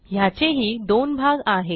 ह्याचेही दोन भाग आहेत